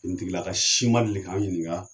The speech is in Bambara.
Kuntigilaka si ma seli k'an ɲininka.